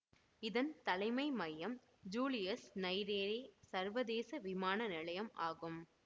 இதன் தலைமை மையம் ஜூலியஸ் நையிரேரே சர்வதேச விமான நிலையம் ஆகும்